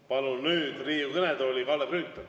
Palun nüüd Riigikogu kõnetooli Kalle Grünthali.